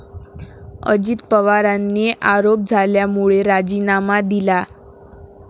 अजित पवारांनी आरोप झाल्यामुळे राजीनामा दिला.